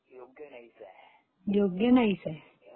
योग्य नाहीच आहे.